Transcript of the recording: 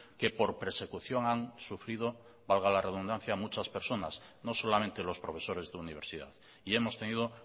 que por persecución han sufrido valga la redundancia muchas personas no solamente los profesores de universidad y hemos tenido